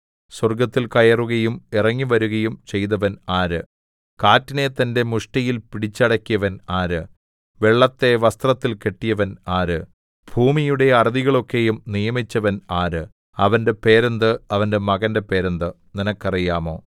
സ്വർഗ്ഗത്തിൽ കയറുകയും ഇറങ്ങിവരുകയും ചെയ്തവൻ ആര് കാറ്റിനെ തന്റെ മുഷ്ടിയിൽ പിടിച്ചടക്കിയവൻ ആര് വെള്ളത്തെ വസ്ത്രത്തിൽ കെട്ടിയവൻ ആര് ഭൂമിയുടെ അറുതികളെയൊക്കെയും നിയമിച്ചവൻ ആര് അവന്റെ പേരെന്ത് അവന്റെ മകന്റെ പേരെന്ത് നിനക്കറിയാമോ